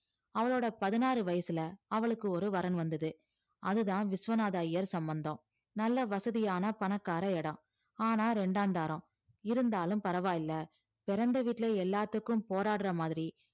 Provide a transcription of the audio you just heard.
அவளோட பதினாறு வயசுல அவளுக்கு ஒரு வரன் வந்தது அதுதான் விஸ்வநாத ஐயர் சம்மந்தம் நல்ல வசதியான பணக்கார இடம் ஆனா ரெண்டாந்தாரம் இருந்தாலும் பரவாயில்லை பிறந்த வீட்டிலே எல்லாத்துக்கும் போராடுற மாதிரி